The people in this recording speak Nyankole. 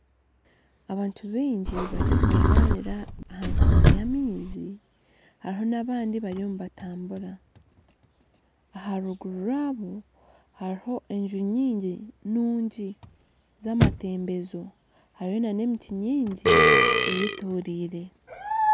Abantu baingi bariyo nibazaanira aha nkungu yamaizi hariho nabandi bariyo nibatambura aharuguru rwaabo hariho enju nyingi nungi zamatembezo hariho nana emiti mingi eyetoreire